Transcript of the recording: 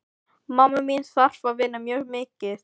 Mamma mín þarf að vinna mjög mikið.